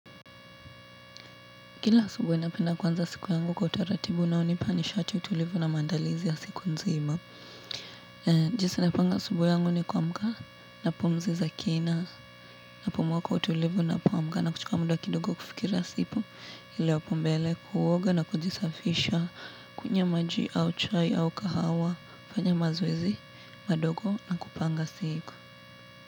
Kila asubuhi napenda kuanza siku yangu kwa utaratibu na hunipa nishati tulivu na maandalizi ya siku nzima. Jinsi napanga asubuhi yangu ni kuamka na pumzi za kina napumua kwa utulivu na kuamka na kuchukua muda kidogo kufikira siku ili hapo mbele kuoga na kujisafisha kunywa maji au chai au kahawa, fanya mazoezi, madogo na kupanga siku.